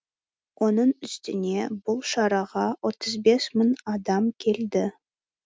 оның үстіне бұл шараға отыз бес мың адам келді